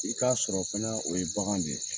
I k'a sɔrɔ fana o ye bagan de ye